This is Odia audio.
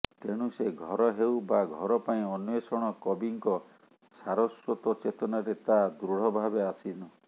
ତେଣୁ ସେ ଘର ହେଉ ବା ଘର ପାଇଁ ଅନ୍ୱେଷଣ କବିଙ୍କ ସାରସ୍ୱତ ଚେତନାରେ ତାହା ଦୃଢ଼ଭାବେ ଆସୀନ